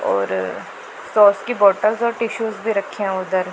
और सॉस बोतल और टिशूज दे रखे हैं उधर।